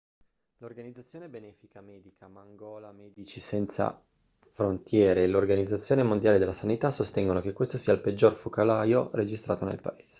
l'organizzazione benefica medica mangola medici senza frontiere e l'organizzazione mondiale della sanità sostengono che questo sia il peggior focolaio registrato nel paese